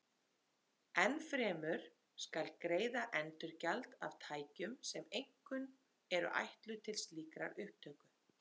Enn fremur skal greiða endurgjald af tækjum sem einkum eru ætluð til slíkrar upptöku.